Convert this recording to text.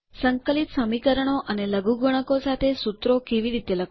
સંકલિત સમીકરણો અને લઘુગુણકો સાથે સુત્રો કેવી રીતે લખવાં